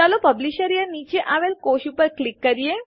ચાલો પબ્લિશયર નીચે આવેલ સેલ કોષ ઉપર ક્લિક કરીએ